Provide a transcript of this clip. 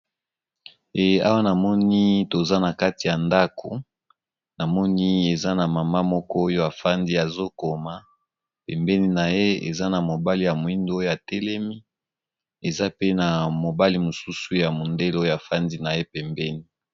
Awa namoni toza na kati ya ndako namoni eza na mama moko oyo afandi azokoma pembeni na ye eza na mobali ya moindo oyo atelemi aza pe na mobali mosusu ya mondele yl afandi na ye pembeni, baza ba konzi ya politiki.